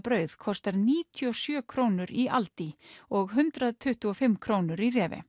brauð kostar níutíu og sjö krónur í aldi og hundrað tuttugu og fimm krónur í